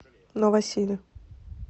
новосиле